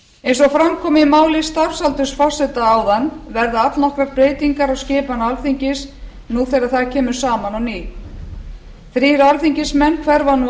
eins og fram kom í máli starfsaldursforseta áðan verða allnokkrar breytingar á skipan alþingis nú þegar það kemur saman á ný þrír alþingismenn hverfa nú af